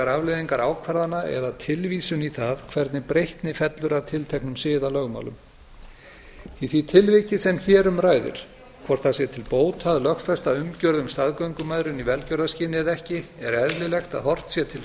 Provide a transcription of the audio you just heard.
afleiðingar ákvarðana eða tilvísun í það hvernig breytni fellur að tilteknum siðalögmálum í því tilviki sem hér um ræðir hvort það sé til bóta að lögfesta umgjörð um staðgöngumæðrun í velgjörðarskyni eða ekki er eðlilegt að horft sé til